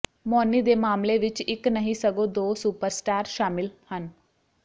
ਮੌਨੀ ਦੇ ਮਾਮਲੇ ਵਿੱਚ ਇੱਕ ਨਹੀਂ ਸਗੋਂ ਦੋ ਸੁਪਰਸਟਾਰ ਸ਼ਾਮਿਲ ਹਨ